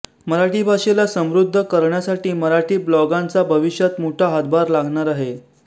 मराठी भाषेला समृध्द करण्यामध्ये मराठी ब्लॉगांचा भविष्यात मोठा हातभार लागणार आहे